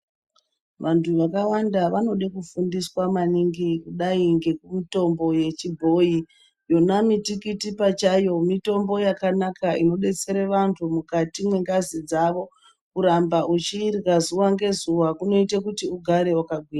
Vanthu vakawanda vanode kufundiswa maningi kudai ngemitombo yechibhoyi yona mitikiti pachayo mitombo yakanaka inodetsera